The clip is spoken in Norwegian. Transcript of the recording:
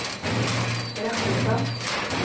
Rakkestad